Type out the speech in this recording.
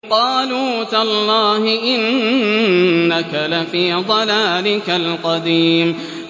قَالُوا تَاللَّهِ إِنَّكَ لَفِي ضَلَالِكَ الْقَدِيمِ